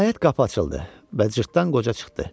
Nəhayət qapı açıldı və cırtdan qoca çıxdı.